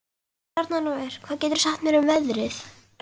Bjarnólfur, hvað geturðu sagt mér um veðrið?